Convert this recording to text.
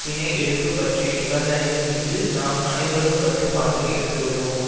பிணை எடுப்பு பற்றிய நிபந்தனைகள் மீது நாம் அனைவரும் கட்டுப்பாட்டை இழந்துவிடுவோம்